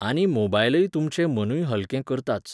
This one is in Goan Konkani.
आनी मोबायलय तुमचें मनूय हलकें करताच